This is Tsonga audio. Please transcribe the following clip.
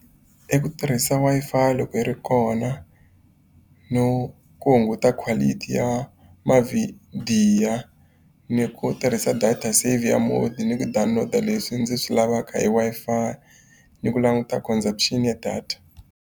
I ku tirhisa Wi-Fi loko yi ri kona, no ku hunguta quality ya mavhidiyo, ni ku tirhisa data saver mode, ni ku download-a leswi ndzi swi lavaka hi Wi-Fi, ni ku languta consumption ya data.